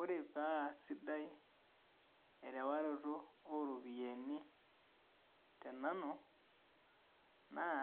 Ore paa sidai erewaroto oo ropiyiani tenanu naa